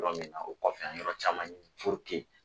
Yɔrɔ min na o kɔfɛ an ye yɔrɔ caman ɲini puruke